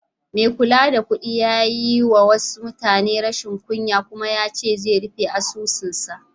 Mai kula da kuɗi a bankin ya yi wa mutumin rashin kunya kuma yace zai rufe asusun sa.